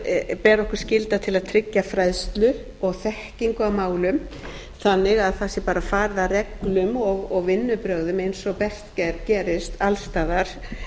þar ber okkur skylda til að tryggja fræðslu og þekkingu á málum þannig að það sé bara farið að reglum og vinnubrögðum eins og best gerist alls staðar